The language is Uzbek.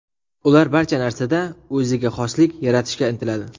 Ular barcha narsada o‘ziga xoslikni yaratishga intiladi.